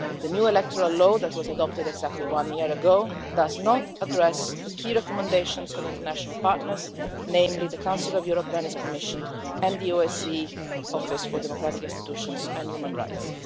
The new electoral law that was adopted exactly a year ago does not address the key recommendations of international partners, namely the Council of Europe Venice Commission and the OSCE Office for Democratic Institutions and Human Rights.